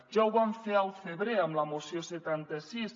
ja ho van fer al febrer amb la moció setanta sis